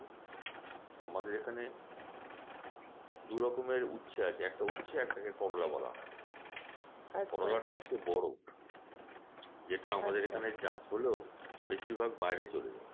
আমাদের এখানে দু রকমের উচ্ছে আছে একটা কে উচ্ছে একটা কে করলা বলা হয় করলাটা হচ্ছে বড় যেটা আমাদের এখানে চাষ হলেও বেশিরভাগ বাইরে চলে যায়।